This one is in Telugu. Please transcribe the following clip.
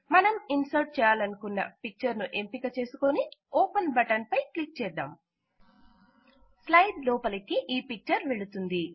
మనం ఇన్సర్ట్ చేయాలనుకున్న పిక్చర్ ను ఎంపిక చేసుకుని ఓపెన్ బటన్ పై క్లిక్ చేద్దాం స్లైడ్ లోపలికి ఈ పిక్చర్ వెళుతుంది